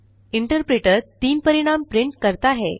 interpreter 3 परिणाम print करता है